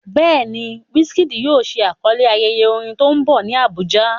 Bẹ́ẹ̀ ni, Wizkid yóò ṣe àkọlé ayẹyẹ orin tó ń bọ̀ ní Abuja.